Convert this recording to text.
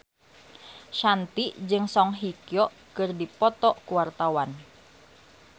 Shanti jeung Song Hye Kyo keur dipoto ku wartawan